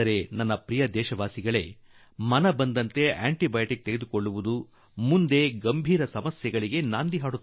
ಆದರೆ ನನ್ನೊಲವಿನ ದೇಶವಾಸಿಗಳೇ ಈ ರೀತಿ ಮಿಸುಕಾಡಿದ್ದಕ್ಕೆಲ್ಲಾ ಆಂಟಿ ಬಯೋಟಿಕ್ ತೆಗೆದುಕೊಳ್ಳುವ ಚಟಕ್ಕೆ ಬಿದ್ದರೆ ಅದು ಗಂಭೀರ ಸಂಕಟವನ್ನು ತಂದು ಒಡ್ಡೀತು